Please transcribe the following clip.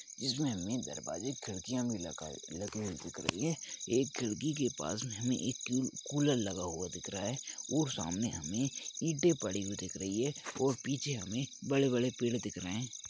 इसमें हमे दरवाजे खिड़कियाँ भी लगे हुए दिख रहे है एक खिड़की के पास में एक कूलर लगा हुआ दिख रहा है और सामने हमे ईंटे पड़ी हुई दिख रही है और पीछे हमे बड़े बड़े पेड़ दिख रहे है।